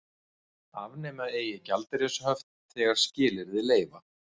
Afnema eigi gjaldeyrishöft þegar skilyrði leyfa